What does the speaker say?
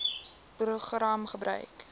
program gebruik